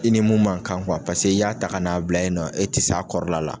I ni mun man kan paseke i y'a ta ka n'a bila ye nɔ e tɛ s'a kɔrɔla la.